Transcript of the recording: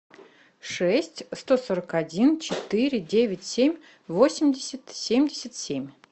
шесть сто сорок один четыре девять семь восемьдесят семьдесят семь